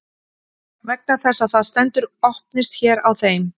Vegna þess að það stendur Opnist hér á þeim.